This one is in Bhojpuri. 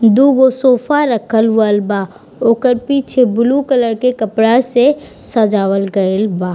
दू गो सोफा रखल हुवल बा ओकर पीछे ब्लू कलर के कपड़ा से सजावल गइल बा।